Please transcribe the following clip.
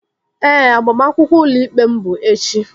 Ee, agbamakwụkwọ ụlọ ikpe m bụ echi